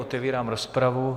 Otevírám rozpravu.